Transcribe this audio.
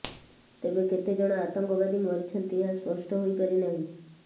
ତେବେ କେତେ ଜଣ ଆତଙ୍କବାଦୀ ମରିଛନ୍ତି ଏହା ସ୍ପଷ୍ଟ ହୋଇପାରି ନାହିଁ